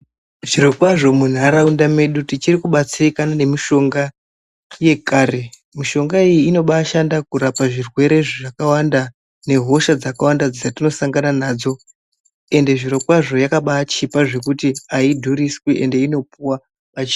Zviro kwazvo mu nharaunda medu tichiri ku batsirikana ne mishonga yekare mishonga iyi inobai shanda kurapa zvirwere zvakawanda ne hoshaa dzakawanda dzatino sangana nadzo ende zviro kwazvo yakabai chipa zvekuti ayidhuriswi ende inopuwa pachi bhedhlera.